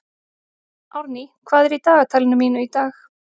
Árný, hvað er í dagatalinu mínu í dag?